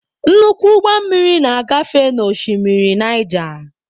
Nnukwu ụgbọ mmiri na-agafe n'oshimmiri Naija.